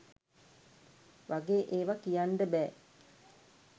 වගේ ඒව කියන්ඩ බෑ.